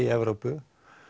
í Evrópu